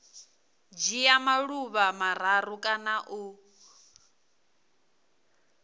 dzhia maḓuvha mararu kana u